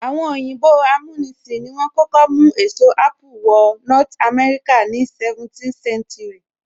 Àwọn òyìnbó amúnisìn ni wọ́n kọ́kọ́ mú èso apple wọ north America ní 17th century